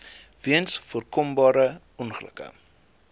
weens voorkombare ongelukke